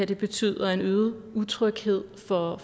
det betyder en øget utryghed for